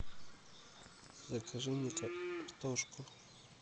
закажи мне картошку